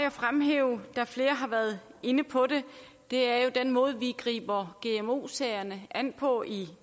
at fremhæve da flere har været inde på det er jo den måde vi griber gmo sagerne an på i